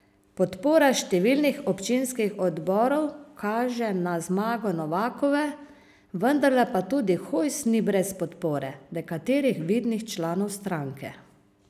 Podpora številnih občinskih odborov kaže na zmago Novakove, vendarle pa tudi Hojs ni brez podpore nekaterih vidnih članov stranke.